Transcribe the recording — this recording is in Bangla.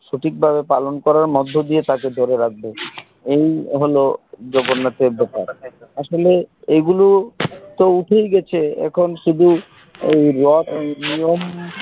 সঠিক ভাবে পালন করার মধ্যে দিয়ে তাকে বেঁধে রাখবো এই হলো জগন্নাথ এর ব্যাপার আসলে এগুলো তো উঠেই গেছে এখন শুধু এই রথ নিয়ম